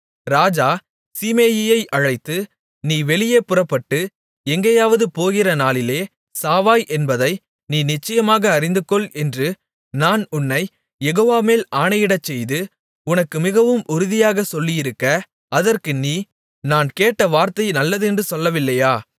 ராஜா சீமேயியை அழைத்து நீ வெளியே புறப்பட்டு எங்கேயாவது போகிற நாளிலே சாவாய் என்பதை நீ நிச்சயமாக அறிந்துகொள் என்று நான் உன்னைக் யெகோவாமேல் ஆணையிடச் செய்து உனக்கு மிகவும் உறுதியாகச் சொல்லியிருக்க அதற்கு நீ நான் கேட்ட வார்த்தை நல்லதென்று சொல்லவில்லையா